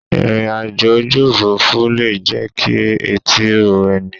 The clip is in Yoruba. Ìrìn àjò ojú òfuurufú le jẹ́ kí etí ro ẹni.